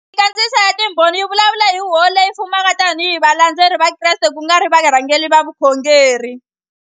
Minkandziyiso ya Timbhoni yi vulavula hi Huvo Leyi Fumaka tanihi hi valandzeri va Kreste ku nga ri varhangeri va vukhongeri.